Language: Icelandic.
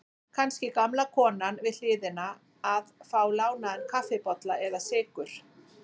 Kannski gamla konan við hliðina að fá lánaðan kaffibolla eða sykur.